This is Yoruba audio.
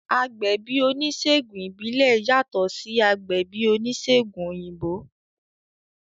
Agbẹ̀bí oníṣègùn ìbílẹ̀ yàtọ̀ sí agbẹ̀bí oníṣègùn òyìnbó